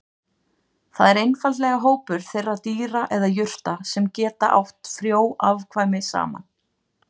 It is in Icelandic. Það er einfaldlega hópur þeirra dýra eða jurta sem geta átt frjó afkvæmi saman.